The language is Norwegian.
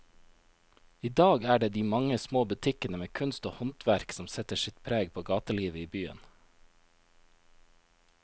I dag er det de mange små butikkene med kunst og håndverk som setter sitt preg på gatelivet i byen.